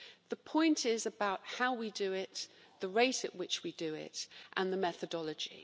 The point is about how we do it, the rate at which we do it and the methodology.